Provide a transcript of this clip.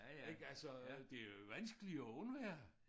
Ik altså det jo vanskeligt at undvære